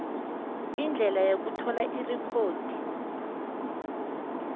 indlela yokuthola irekhodi